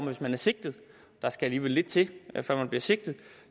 hvis man er sigtet og der skal alligevel lidt til før man bliver sigtet